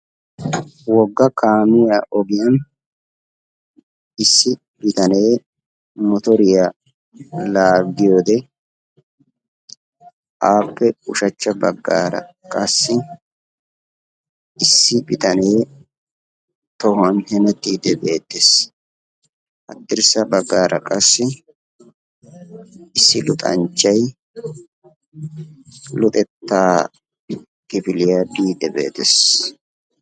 Wogga kaamiya ogiyan issi bitanee motoriya laaggiyode aappe ushachcha baggaara qassi issi bitane tohuwan hemettiiddi beettes. Haddirssa baggaara qassi issi luxanchchay luxettaa kifiliya biiddi beettes.